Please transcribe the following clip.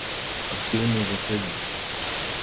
Aktivno zasedena.